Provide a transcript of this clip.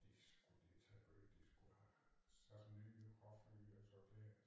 Det skulle de til at gøre de skulle have sat ny hofte i altså det